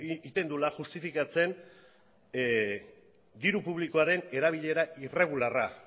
egiten duela justifikatzen diru publikoaren erabilera irregularra